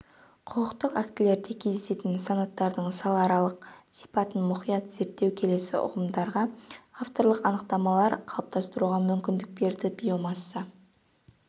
құқықтық актілерде кездесетін санаттардың салааралық сипатын мұқият зерттеу келесі ұғымдарға авторлық анықтамалар қалыптастыруға мүмкіндік берді биомасса